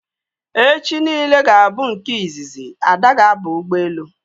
echichi niile ga bu nke izizi Ada ga aba ụgbọelu